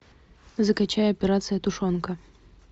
закачай операция тушенка